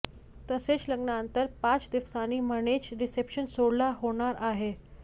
तसेच लग्नानंतर पाच दिवसांनी म्हणजेच रिसेप्शन सोहळा होणार आहे